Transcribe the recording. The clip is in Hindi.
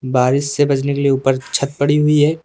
बारिश से बचने के लिए ऊपर छत पड़ी हुई है।